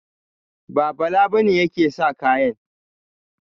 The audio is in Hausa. Ba, Bala ba ne yake sa kayan.